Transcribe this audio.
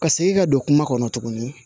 Ka segin ka don kuma kɔnɔ tuguni